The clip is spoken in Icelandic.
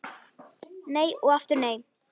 Nei og aftur nei!